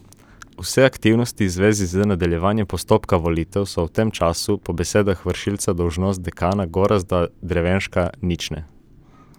Vse aktivnosti v zvezi z nadaljevanjem postopka volitev so v tem času po besedah vršilca dolžnosti dekana Gorazda Drevenška nične.